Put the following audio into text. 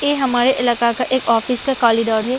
ये हमारे इलाका का एक ऑफिस का कॉरिडोर है।